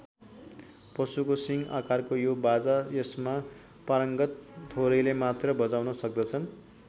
पशुको सिङ्ग आकारको यो बाजा यसमा पारङ्गत थोरैले मात्र बजाउन सक्दछन्।